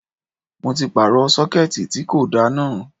Mo ti pààrọ̀ Sọ́kẹ́tì tí kò da náà.